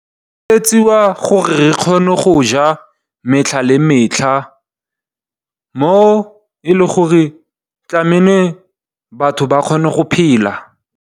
E etsiwa gore re kgone go ja metlha le metlha mo e le gore tlamele batho ba kgone go phela.